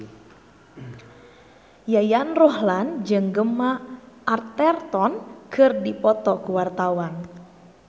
Yayan Ruhlan jeung Gemma Arterton keur dipoto ku wartawan